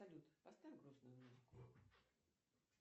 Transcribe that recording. салют поставь грустную музыку